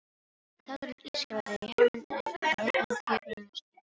Hláturinn ískraði í Hermundi og augun kipruðust í litlar rifur.